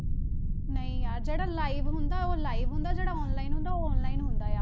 ਨਹੀਂ ਯਾਰ ਜਿਹੜਾ live ਹੁੰਦਾ ਉਹ live ਹੁੰਦਾ, ਜਿਹੜਾ online ਹੁੰਦਾ ਉਹ online ਹੁੰਦਾ ਆ।